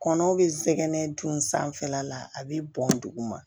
Kɔnɔ bɛ zɛgɛnɛ dun sanfɛla la a bɛ bɔn duguma